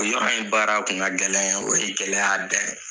O yɔrɔ in baara kun ka gɛlɛn o ye gɛlɛya dan ye